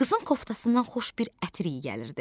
Qızın koftasından xoş bir ətir iyi gəlirdi.